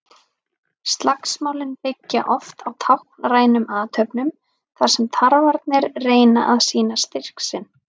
Slagsmálin byggja oft á táknrænum athöfnum þar sem tarfarnir reyna að sýna styrk sinn.